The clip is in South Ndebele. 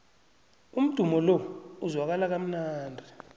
umdumo lo uzwakala kamnandi